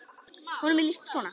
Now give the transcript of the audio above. Honum er lýst svona